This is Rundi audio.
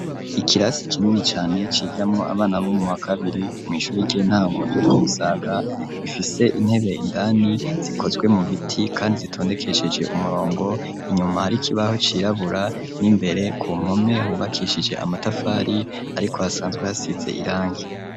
Ikirasi kinini cane cigiramwo abana bo muwa kabiri, mw'ishure ry'intango ryo ku Musaga, rifise intebe indani zikozwe mu biti kandi zitondekesheje umurongo, inyuma hari kibaho cirabura n'imbere ku mpome, hubakishije amatafari, ariko hasanzwe hasize irangi.